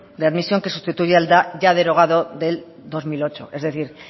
de admisión que sustituye al ya derogado del dos mil ocho es decir